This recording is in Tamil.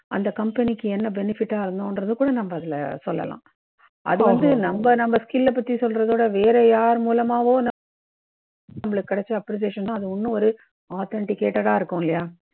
அந்த company க்கு என்ன benefit டா ஆகும்கிறதை கூட நம்ப அதுல சொல்லலாம். அது வந்து நம்ப நம்ப skill லை பத்தி சொல்றதை விட வேற யாருமூலமவோ நம்பளுக்கு கிடைச்ச appreciation தான் இன்னும் ஒரு authenticated டா இருக்கும் இல்லயா?